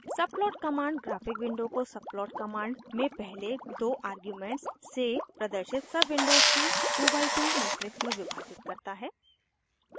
subplot command graphic window को subplot command में पहले दो आर्ग्यूमेंट्स से प्रदर्शित सबविंडोज़ के 2 बाइ 2 मेट्रिक्स में विभाजित करता है